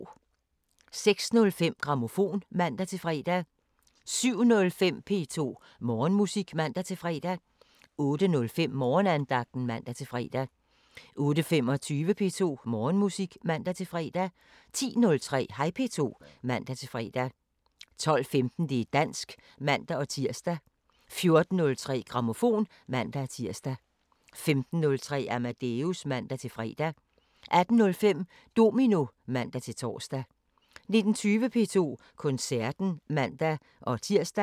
06:05: Grammofon (man-fre) 07:05: P2 Morgenmusik (man-fre) 08:05: Morgenandagten (man-fre) 08:25: P2 Morgenmusik (man-fre) 10:03: Hej P2 (man-fre) 12:15: Det´ dansk (man-tir) 14:03: Grammofon (man-tir) 15:03: Amadeus (man-fre) 18:05: Domino (man-tor) 19:20: P2 Koncerten (man-tir)